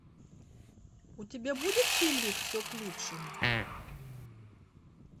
у тебя будет фильмик все к лучшему